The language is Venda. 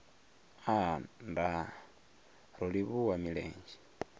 aa nndaa ro livhuwa milenzhe